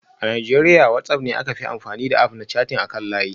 A Najeriya WhatsApp ne aka fi amfani da App na chatting akan layi